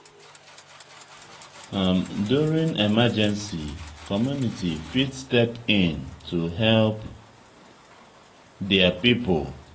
during emergency community fit step in to help their pipo